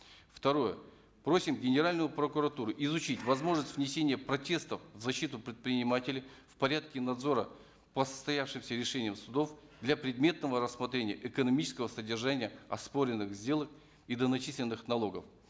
второе просим генеральную прокуратуру изучить возможность внесения протестов в защиту предпринимателя в порядке надзора по состоявшимся решениям судов для предметного рассмотрения экономического содержания оспоренных сделок и доначисленных налогов